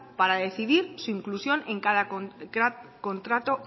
para decidir su inclusión en cada contrato